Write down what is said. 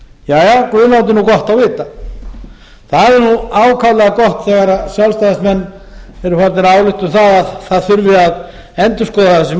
láti gott á vita það er ákaflega gott þegar sjálfstæðismenn eru farnir að álykta um að það þurfi að endurskoða þessi